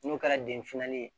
N'o kɛra den filanin ye